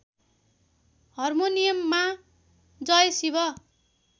हार्मोनियममा जय शिव